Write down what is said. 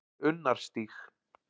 Unnarstíg